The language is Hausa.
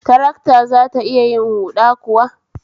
Tarakta zata iya yin huda kuwa?